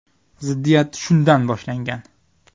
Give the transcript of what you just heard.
Ziddiyat shundan boshlangan.